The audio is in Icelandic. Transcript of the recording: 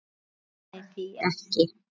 Nenni því ekki